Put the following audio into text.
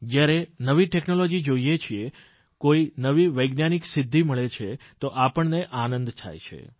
જયારે નવી ટેકનોલોજી જોઇએ છીએ કોઇ નવી વૈજ્ઞાનિક સિદ્ધિ મળે છે તો આપણને આનંદ થાય છે